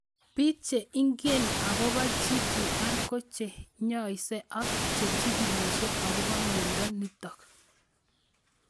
Piik che ingine akopo GTR ko che inyaise ak che chigílishe akopo miondo nitok